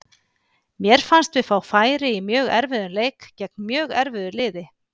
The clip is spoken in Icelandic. Mér fannst við fá færi í mjög erfiðum leik gegn mjög erfiðu liði.